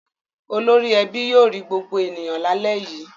Olórí ẹbí yóò rí gbogbo ènìyàn lálẹ́ yìí.